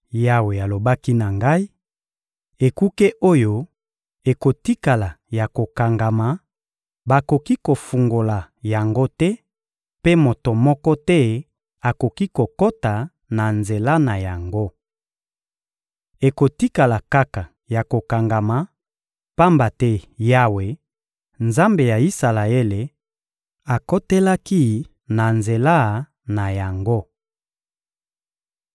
Yawe alobaki na ngai: «Ekuke oyo ekotikala ya kokangama, bakoki kofungola yango te, mpe moto moko te akoki kokota na nzela na yango. Ekotikala kaka ya kokangama, pamba te Yawe, Nzambe ya Isalaele, akotelaki na nzela na yango.